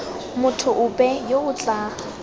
motho ope yo o tla